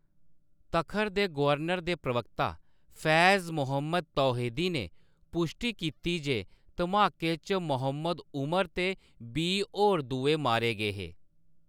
तखर दे गवर्नर दे प्रवक्ता फैज़ मोहम्मद तौहीदी ने पुश्टी कीती जे धमाके च मोहम्मद उमर ते बीह् होर दुए मारे गे हे।